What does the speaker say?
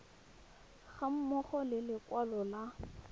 ga mmogo le lekwalo la